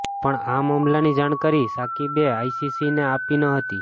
પણ આ મામલાની જાણકારી શાકિબે આઈસીસીને આપી ન હતી